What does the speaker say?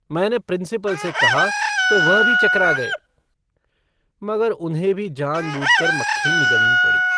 मैंने प्रिंसिपल से कहा तो वह भी चकरा गए। मगर उन्हें भी जान-बूझकर मक्खी निगलनी पड़ी।